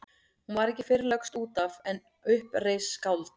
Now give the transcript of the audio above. Hún var ekki fyrr lögst út af en upp reis skáld.